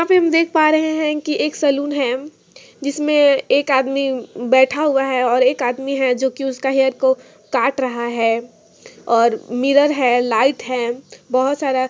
यहां पर हम देख पा रहे हैं कि एक सैलून है जिसमें एक आदमी बैठा हुआ है और एक आदमी है जो कि उसका हैर को काट रहा है और मिरा है लाइट है।